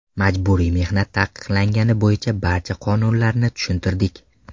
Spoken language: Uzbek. Majburiy mehnat taqiqlanganligi bo‘yicha barcha qonunlarni tushuntirdik.